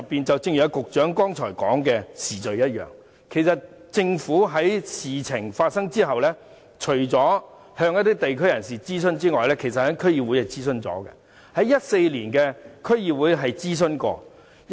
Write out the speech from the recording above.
正如局長剛才所說，政府在事情發生後，除了向地區人士進行諮詢外，在2014年的區議會也曾進行諮詢。